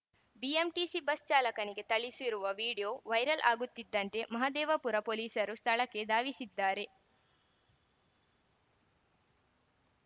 BMTC bus ಚಾಲಕನಿಗೆ ಥಳಿಸಿರುವ video viral ಆಗುತ್ತಿದ್ದಂತೆ ಮಹದೇವಪುರ ಪೊಲೀಸರು ಸ್ಥಳಕ್ಕೆ ಧಾವಿಸಿದ್ದಾರೆ